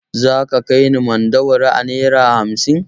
Za ka kai ni Mandawari a naira hamsin?